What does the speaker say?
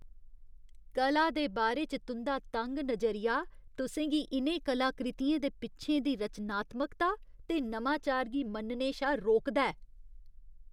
कला दे बारे च तुं'दा तंग नजरिया तुसें गी इ'नें कलाकृतियें दे पिच्छें दी रचनात्मकता ते नमांचार गी मन्नने शा रोकदा ऐ।